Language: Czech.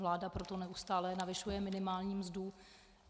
Vláda proto neustále navyšuje minimální mzdu.